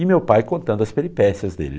E meu pai contando as peripécias dele.